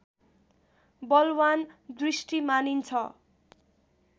बलवान दृष्टि मानिन्छ